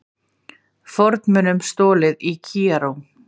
Fornmunum stolið í Kaíró